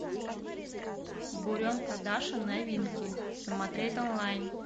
буренка даша новинки смотреть онлайн